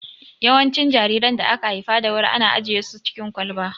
Yawancin jariran da aka haifa da wuri ana ajiye su cikin kwalba